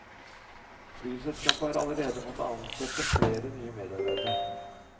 Flyselskapet har allerede måttet ansette flere nye medarbeidere.